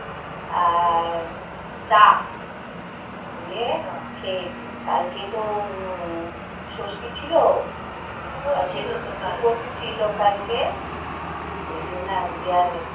আর চা দিয়ে খেয়েছি কালকে তো ষষ্ঠী ছিল. উপোষ ছিল কালকে. ওই জন্য আজকে আর